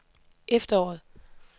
efteråret